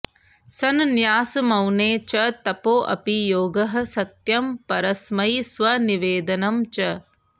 सन्न्यासमौने च तपोऽपि योगः सत्यं परस्मै स्वनिवेदनं च